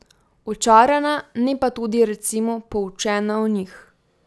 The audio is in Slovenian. Očarana, ne pa tudi, recimo, poučena o njih.